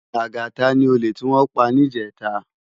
Lagata ni ólè tiwòn pá nijètá